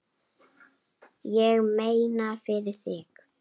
Ég meina, fyrir þig.